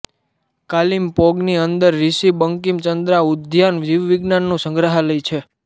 કાલિમપોંગની અંદર રિશિ બંકિમ ચંદ્રા ઉદ્યાન જીવવિજ્ઞાનનું સંગ્રહાલય છે